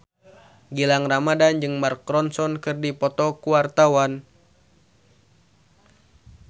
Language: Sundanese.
Gilang Ramadan jeung Mark Ronson keur dipoto ku wartawan